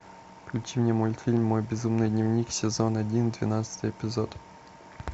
включи мне мультфильм мой безумный дневник сезон один двенадцатый эпизод